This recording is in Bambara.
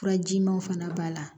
Furajimaw fana b'a la